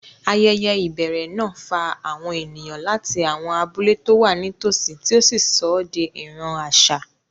Ayẹyẹ ìbẹ̀rẹ̀ náà fa àwọn ènìyàn láti àwọn abúlé tó wà nítòsí, tí ó sọ ọ́ di ìran àṣà.